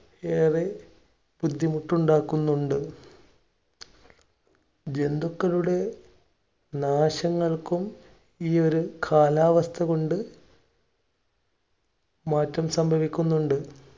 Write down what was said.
ഏറെ ബുദ്ധിമുട്ട് ഉണ്ടാക്കുന്നുണ്ട്. ജന്തുക്കളുടെ നാശങ്ങൾക്കും, ഈയൊരു കാലാവസ്ഥ കൊണ്ട് മാറ്റം സംഭവിക്കുന്നുണ്ട്.